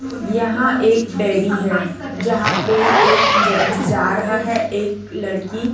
यहां एक डेयरी है जहां पे एक जेंट्स जा रहा है एक लड़की--